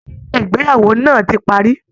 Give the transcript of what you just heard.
Ayẹyẹ Ìgbéyàwó náà ti parí